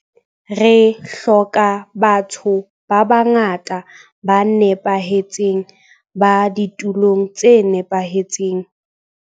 Re hloka ba tho ba bangata ba nepahetseng ba ditulong tse nepahetseng.